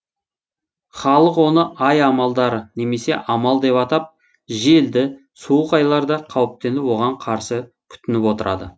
халық оны ай амалдары немесе амал деп атап желді суық айларда қауіптеніп оған қарсы күтініп отырады